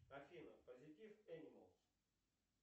афина позитив энималс